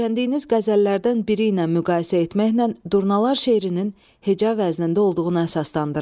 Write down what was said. Öyrəndiyiniz qəzəllərdən biri ilə müqayisə etməklə durnalar şeirinin heca vəznində olduğuna əsaslandırın.